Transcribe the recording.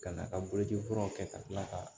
Ka n'a ka boloci furaw kɛ ka tila ka